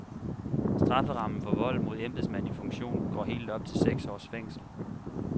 Strafferammen for vold mod embedsmand i funktion går helt op til seks års fængsel.